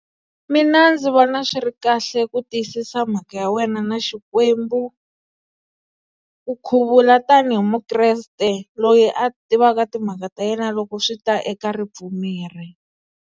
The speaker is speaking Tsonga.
Mina ndzi vona swi ri kahle ku tiyisisa mhaka ya wena na Xikwembu. U khuvula tanihi mukreste loyi a tivaka timhaka ta yena loko swi ta eka ripfumeri.